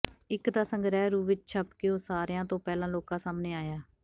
ਇੱਕ ਤਾਂ ਸੰਗ੍ਰਹਿ ਰੂਪ ਵਿੱਚ ਛਪਕੇ ਉਹ ਸਾਰਿਆਂ ਤੋਂ ਪਹਿਲਾਂ ਲੋਕਾਂ ਸਾਹਮਣੇ ਆਇਆ